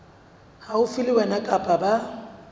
haufi le wena kapa ba